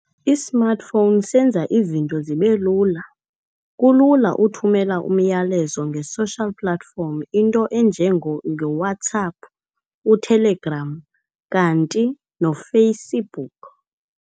I-smartphone senza izinto zibe lula, kulula ukuthumela umyalezo nge-social platform into ezinjengoWhatsApp, u-Telegram kanti noFacebook.